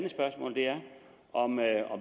om